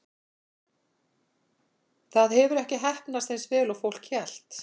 Það hefur ekki heppnast eins vel og fólk hélt.